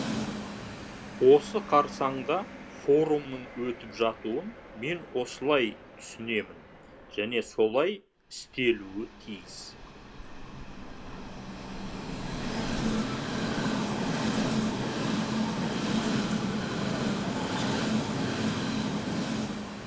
осы қарсаңда форумның өтіп жатуын мен осылай түсінемін және солай істелуі тиіс